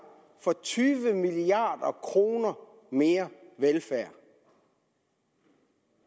for tyve milliard kroner mere velfærd